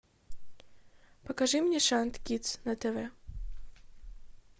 покажи мне шант кидс на тв